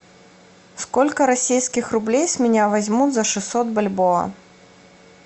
сколько российских рублей с меня возьмут за шестьсот бальбоа